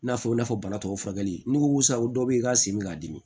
N'a fɔ i n'a fɔ banabagatɔ furakɛli n'i ko sa o dɔw bɛ yen i ka sen bɛ k'a dimi